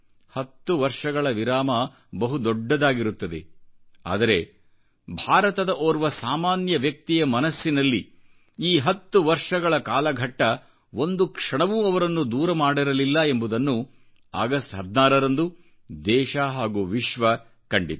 10 ವರ್ಷಗಳ ವಿರಾಮ ಬಹುದೊಡ್ಡದಾಗಿರುತ್ತದೆ ಆದರೆ ಭಾರತದ ಓರ್ವ ಸಾಮಾನ್ಯ ವ್ಯಕ್ತಿಯಮನಸ್ಸಿನಲ್ಲಿ ಈ 10 ವರ್ಷಗಳ ಕಾಲಘಟ್ಟ ಒಂದು ಕ್ಷಣವೂ ಅವರನ್ನು ದೂರ ಮಾಡಿರಲಿಲ್ಲ ಎಂಬುದನ್ನು ಅಗಸ್ಟ್ 16 ರಂದು ದೇಶ ಹಾಗೂ ವಿಶ್ವ ಕಂಡಿತು